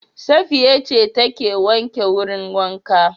Safiya ce ta ke wanke wurin wanka